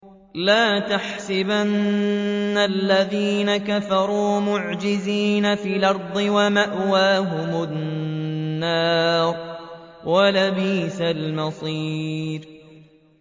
لَا تَحْسَبَنَّ الَّذِينَ كَفَرُوا مُعْجِزِينَ فِي الْأَرْضِ ۚ وَمَأْوَاهُمُ النَّارُ ۖ وَلَبِئْسَ الْمَصِيرُ